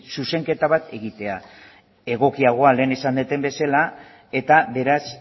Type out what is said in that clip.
zuzenketa bat egitea egokiagoa lehen esan dudan bezala eta beraz